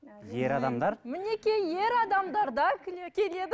ер адамдар мінекей ер адамдар да келеді